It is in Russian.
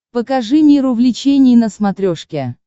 покажи мир увлечений на смотрешке